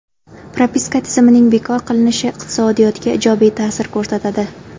Propiska tizimining bekor qilinishi iqtisodiyotga ijobiy ta’sir ko‘rsatadi.